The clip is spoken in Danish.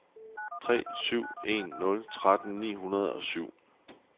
tre syv en nul tretten ni hundrede og syv